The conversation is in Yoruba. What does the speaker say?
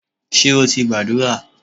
Ṣé o ti gbàdúrà?